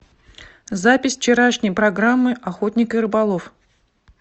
запись вчерашней программы охотник и рыболов